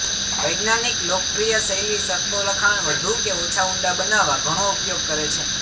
વૈજ્ઞાનિક લોકપ્રિય શૈલી શરતો લખાણ વધુ કે ઓછા ઊંડા બનાવવા ઘણો ઉપયોગ કરે છે